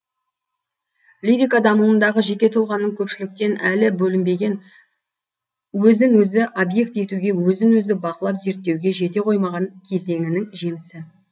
лирика дамуындағы жеке тұлғаның көпшіліктен әлі бөлінбеген өзін өзі объект етуге өзін өзі бақылап зерттеуге жете қоймаған кезеңінің жемісі